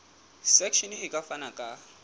section e ka fana ka